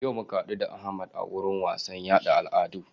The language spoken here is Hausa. Yau muka hadu da Ahmad a wurin wasan yaɗa al'adu